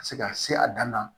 Ka se ka se a dan na